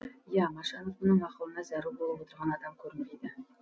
иә машанов мұның ақылына зәру болып отырған адам көрінбейді